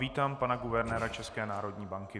Vítám pana guvernéra České národní banky.